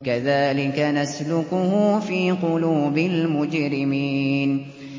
كَذَٰلِكَ نَسْلُكُهُ فِي قُلُوبِ الْمُجْرِمِينَ